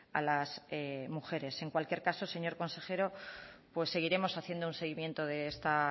a las mujeres en cualquier caso señor consejero seguiremos haciendo un seguimiento de esta